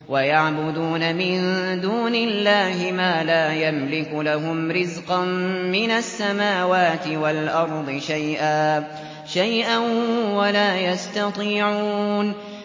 وَيَعْبُدُونَ مِن دُونِ اللَّهِ مَا لَا يَمْلِكُ لَهُمْ رِزْقًا مِّنَ السَّمَاوَاتِ وَالْأَرْضِ شَيْئًا وَلَا يَسْتَطِيعُونَ